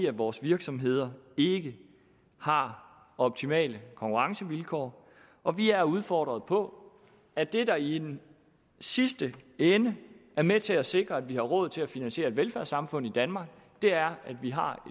at vores virksomheder ikke har optimale konkurrencevilkår og vi er udfordret på at det der i den sidste ende er med til at sikre at vi har råd til at finansiere et velfærdssamfund i danmark er at vi har